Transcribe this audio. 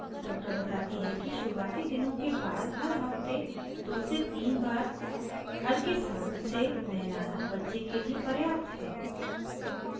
doctor बताती है कि शुरूआती दिनों के बाद हर हफ्ते 2 से 3 baths हल्के साबुन से नहलाना बच्चे के लिए पर्याप्त है